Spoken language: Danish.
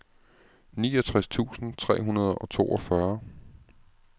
niogtres tusind tre hundrede og toogfyrre